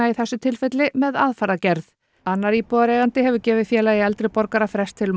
í þessu tilfelli með aðfarargerð annar íbúðareigandi hefur gefið Félagi eldri borgara frest til